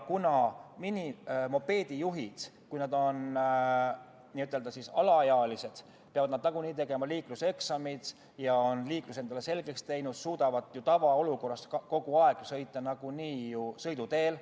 Kuna minimopeedijuhid, kui nad on alaealised, peavad nagunii tegema liikluseksami, siis on nad liikluse endale selgeks teinud ja suudavad tavaolukorras nagunii sõita ka sõiduteel.